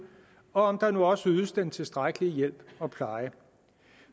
og om der nu også ydes den tilstrækkelige hjælp og pleje